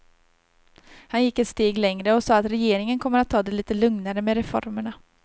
Han gick ett steg längre och sade att regeringen kommer att ta det lite lugnare med reformerna.